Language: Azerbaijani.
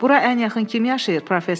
Bura ən yaxın kim yaşayır?